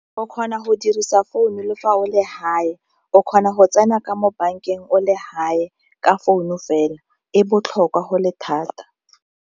O kgona go dirisa founu le fa o le hae o kgona go tsena ka mo bankeng o le hae ka founu fela e botlhokwa go le thata.